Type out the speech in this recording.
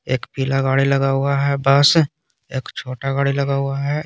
एक पीला गाड़ी लगा हुआ है बस एक छोटा गाड़ी लगा हुआ है।